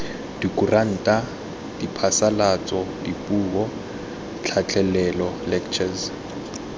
dikuranta diphasalatso dipuo tlhatlhelelo lectures